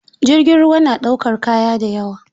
Jirgin ruwa na ɗaukar kaya da yawa.